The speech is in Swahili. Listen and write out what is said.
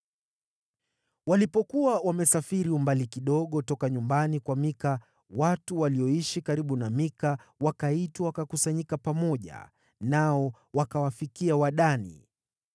Walipokuwa wamesafiri umbali kidogo toka nyumbani kwa Mika, watu walioishi karibu na Mika wakaitwa wakakusanyika pamoja, nao wakawafikia Wadani.